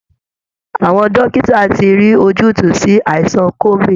Àwọn dókìtà ti rí ojútùú sí aìsàn COvID